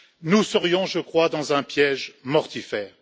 nous serions, je crois, dans un piège mortifère.